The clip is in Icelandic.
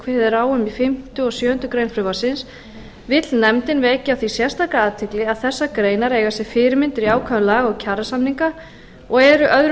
kveðið er á um í fimmta og sjöundu greinar frumvarpsins vill nefndin vekja á því sérstaka athygli að þessar greinar eiga sér fyrirmyndir í ákvæðum laga og kjarasamninga og eru öðrum